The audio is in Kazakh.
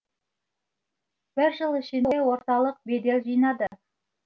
бір жыл ішінде орталық бедел жинады